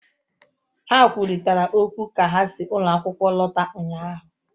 Ha kwurịtara okwu ka ha si ụlọ akwụkwọ lọta ụnyahụ